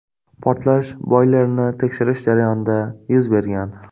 Portlash boylerni tekshirish jarayonida yuz bergan.